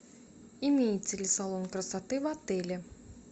имеется ли салон красоты в отеле